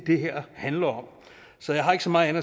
det her handler om så jeg har ikke så meget